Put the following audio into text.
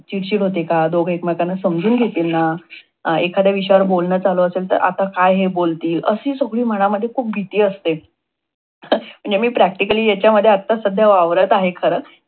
चिडचिड होतेय का? दोघ एकमेकांना समजून घेतील ना? एखाद्या विषयावर बोलन चालू असेल, तर आता काय हे बोलतील? अशी सगळी मनामध्ये खूप भीती असते. म्हणजे मी practically ह्याच्यामध्ये आत्ता सध्या वावरत आहे. खर.